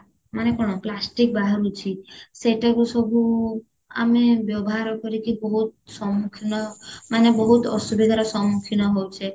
ମାନେ କଣ plastic ବାହାରୁଚି ସେଟାରୁ ସବୁ ଆମେ ବ୍ୟବହାର କରିକି ବହୁତ ସମ୍ମୁଖୀନ ମାନେ ବହୁତ ଅସୁବିଧାର ସମ୍ମୁଖୀନ ହଉଛେ